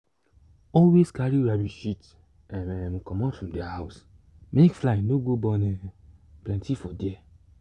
always carry rabbit shit um um comot from their house make fly no go born um plenty for there.